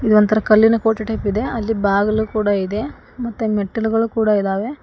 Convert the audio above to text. ಇದೊಂತರ ಕಲ್ಲಿನ ಕೋಟೆ ಟೈಪ್ ಇದೆ ಅಲ್ಲಿ ಬಾಗಿಲು ಕೂಡ ಇದೆ ಮತ್ತೆ ಮೆಟ್ಟಿಲುಗಳು ಕೂಡ ಇದಾವೆ.